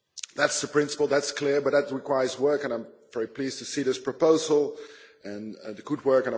That is a principle, that is clear, but that requires work and I am very pleased to see this proposal and the good work.